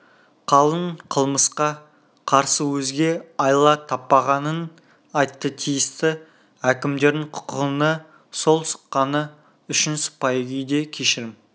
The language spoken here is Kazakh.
қалың қылмысқа қарсы өзге айла таппағанын айтты тиісті әкімдердің құқұғына қол сұққаны үшін сыпайы күйде кешірім